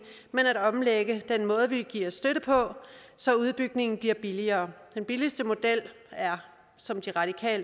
men at omlægge den måde vi giver støtte på så udbygningen bliver billigere den billigste model er som